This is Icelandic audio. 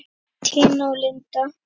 Tina og Linda.